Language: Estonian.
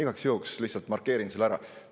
Igaks juhuks lihtsalt markeerin selle ära.